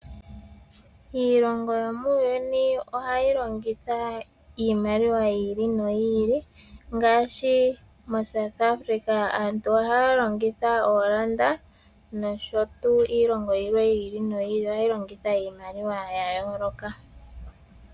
Iilongo yomuuyuni ohayi longitha iimaliwa yi ili noyi ili, ngaashi moSouth Africa aantu ohaya longitha oolanda, nosho tuu iilongo yilwe yi ili noyi ili ohayi longitha iimaliwa ya yooloka.